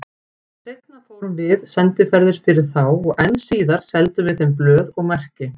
Seinna fórum við sendiferðir fyrir þá og enn síðar seldum við þeim blöð og merki.